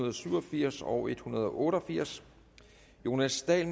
og syv og firs og en hundrede og otte og firs jonas dahl